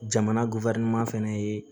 Jamana fɛnɛ ye